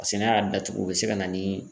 Paseke n'a y'a datugu o bɛ se ka na ni